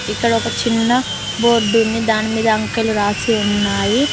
ఇక్కడ ఒక చిన్న బోర్డు ఉంది దాని మీద అంకెలు రాసి ఉన్నాయి.